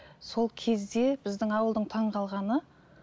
сол кезде біздің ауылдың таңғалғаны